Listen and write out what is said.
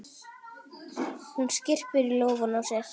Hún skyrpir í lófana á sér.